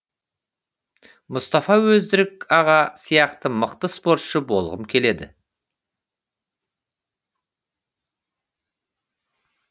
мұстафа өзтүрік аға сияқты мықты спортшы болғым келеді